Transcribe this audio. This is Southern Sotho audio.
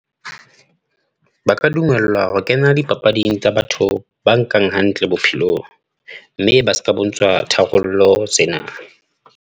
Ba ka dumellwa ho kena dipapading tsa batho ba nkang hantle bophelong, mme ba ska bontshwa tharollo tsena.